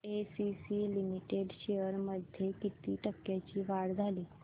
ACC limited shares मध्ये किती टक्क्यांची वाढ झाली